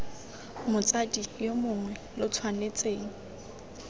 motsadi yo mongwe lo tshwanetseng